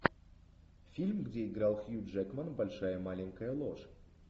фильм где играл хью джекман большая маленькая ложь